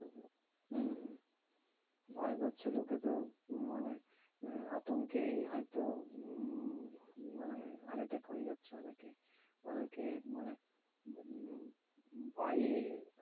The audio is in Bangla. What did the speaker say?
হম হম ভয় পাচ্ছে লোকে তো মানে আহ আতঙ্কেই হয়তো উম মানে heart attack হয়ে যাচ্ছে অনেকেরই। অনেকে মানে উম ভয়ে